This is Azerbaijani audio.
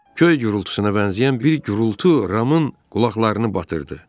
Göy gurultusuna bənzəyən bir gurultu Ramın qulaqlarını batırdı.